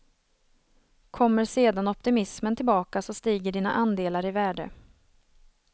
Kommer sedan optimismen tillbaka så stiger dina andelar i värde.